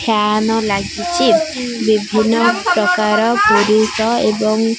Fan ଲାଗିଚି। ବିଭିନ୍ନ ପ୍ରକାର ପୁରୁଷ ଏବଂ --